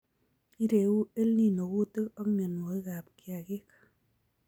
Ireu EL Nino kuutik ak mienwokikab kiagik